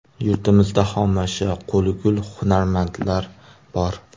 Yurtimizda xomashyo, qo‘li gul hunarmandlar bor.